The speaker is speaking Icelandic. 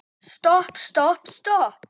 Stopp, stopp, stopp.